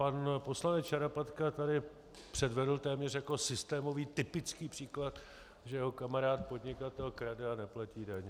Pan poslanec Šarapatka tady předvedl téměř jako systémový typický příklad, že jeho kamarád podnikatel krade a neplatí daně.